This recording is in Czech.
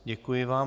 Děkuji vám.